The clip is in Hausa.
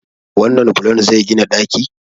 wannan bulon zai gina ɗaki?